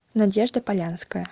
надежда полянская